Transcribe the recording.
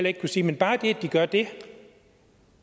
ikke kunne sige men bare det at de gør det